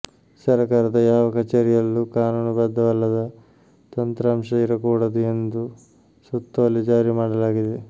ಸರಕಾರದ ಯಾವ ಕಚೇರಿಯಲ್ಲೂ ಕಾನೂನುಬದ್ಧವಲ್ಲದ ತಂತ್ರಾಂಶ ಇರಕೂಡದು ಎಂದು ಸುತ್ತೋಲೆ ಜಾರಿ ಮಾಡಲಾಗಿದೆ